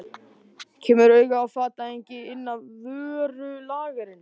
Kemur auga á fatahengi inn af vörulagernum.